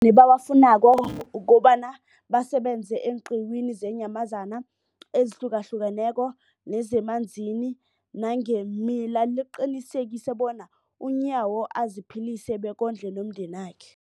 amakghono ebawafunako ukobana basebenze eenqiwini zeenyamazana ezihlukahlukeneko nezemanzini nangeemila, liqinisekisa bona uNyawo aziphilise bekondle nomndenakhe.